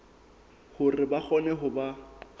hore ba kgone ho ba